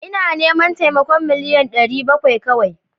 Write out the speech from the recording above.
Ina neman taimakon million ɗari bakwai kawia